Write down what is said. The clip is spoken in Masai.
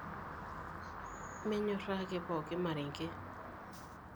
Minyoraa ake pooki marenke.